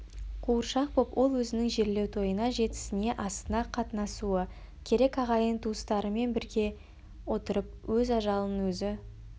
қуыршақ боп ол өзінің жерлеу тойына жетісіне асына қатынасуы керек ағайын-туыстарымен бірге отырып өз ажалын өзі